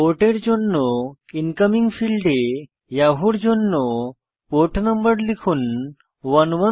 পোর্টের জন্য ইনকমিং ফীল্ডে ইয়াহুর জন্য পোর্ট নম্বর লিখুন 110